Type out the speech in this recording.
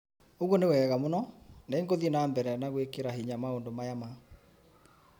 ũguo nĩ wega mũno. Nĩ ngũthie na mbere na gwĩkĩra hinya maũndũ maya ma